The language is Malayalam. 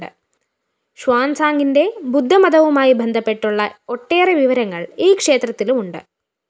ഷ്വാന്‍സാംങിന്റെ ബുദ്ധമതവുമായി ബന്ധപ്പെട്ടുള്ള ഒട്ടേറെ വിവരങ്ങള്‍ ഈ ക്ഷേത്രത്തിലുമുണ്ട്